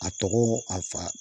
A tɔgɔ a fa